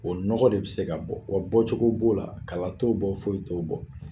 O nɔgɔ de bɛ se ka bɔ, wa bɔcogo b'o la, kala t'o bɔ foyi t'o bɔ.